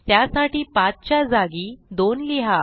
त्यासाठी 5 च्या जागी 2 लिहा